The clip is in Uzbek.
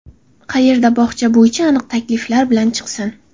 qayerga bog‘cha bo‘yicha aniq takliflar bilan chiqsin.